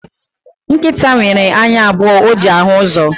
Nkịta nwere anya abụọ o ji ahụ uzo